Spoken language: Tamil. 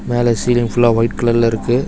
மேல சீலிங் ஃபுல்லா ஒயிட் கலர்ல இருக்கு.